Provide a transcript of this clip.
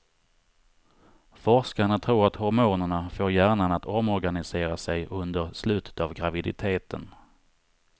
Forskarna tror att hormonerna får hjärnan att omorganisera sig under slutet av graviditeten.